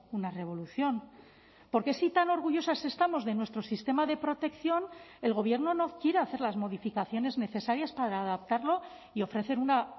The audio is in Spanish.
una revolución porque si tan orgullosas estamos de nuestro sistema de protección el gobierno no quiere hacer las modificaciones necesarias para adaptarlo y ofrecer una